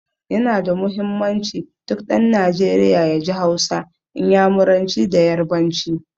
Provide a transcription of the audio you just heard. Ya na da muhimmanci, duk ɗan Najeriya ya ji Hausa, Inyamuranci da Yarbanci.